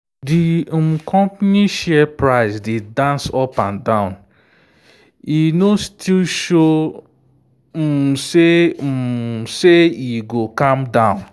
di um company share price dey dance up and down e no still show um say e um say e go calm down.